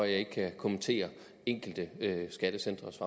ikke kan kommentere enkelte skattecentres